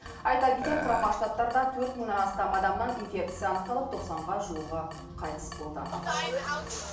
айта кетейік құрама штаттарда төрт мыңнан астам адамнан инфекция анықталып тоқсанға жуығы қайтыс болды